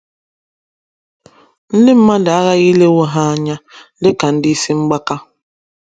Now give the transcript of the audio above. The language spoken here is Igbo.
Ndị mmadụ aghaghị ilewo ha anya dị ka ndị isi mgbaka.